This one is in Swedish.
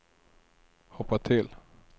hoppa till